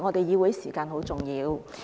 議會時間很重要。